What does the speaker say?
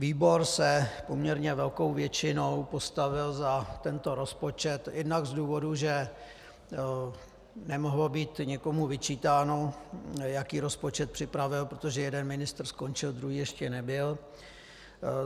Výbor se poměrně velkou většinou postavil za tento rozpočet jednak z důvodu, že nemohlo být někomu vyčítáno, jaký rozpočet připravil, protože jeden ministr skončil, druhý ještě nebyl.